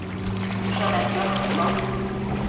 Jeanette Johannesson